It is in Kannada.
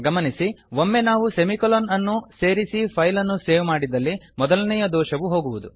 ಗಮನಿಸಿ ಒಮ್ಮೆ ನಾವು ಸೆಮಿಕೊಲೊನ್ ಅನ್ನು ಸೇರಿಸಿ ಫೈಲ್ ಅನ್ನು ಸೇವ್ ಮಾಡಿದಲ್ಲಿ ಮೊದಲನೇಯ ದೋಷವು ಹೋಗುವುದು